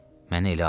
Mənə elə ayır.